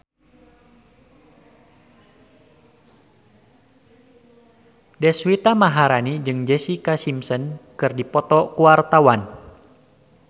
Deswita Maharani jeung Jessica Simpson keur dipoto ku wartawan